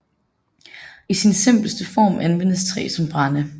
I sin simpleste form anvendes træ som brænde